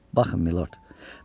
Baxın Minord.